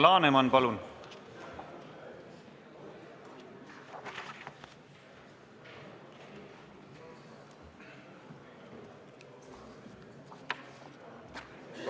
Alar Laneman, palun!